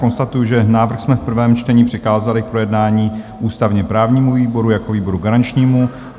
Konstatuji, že návrh jsme v prvém čtení přikázali k projednání ústavně-právnímu výboru jako výboru garančnímu.